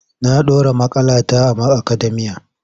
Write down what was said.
Na ɗora maƙalata a akademiya.